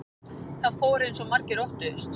Það fór eins og margir óttuðust